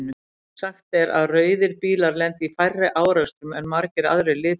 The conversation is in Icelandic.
Sagt er að rauðir bílar lendi í færri árekstrum en margir aðrir litir.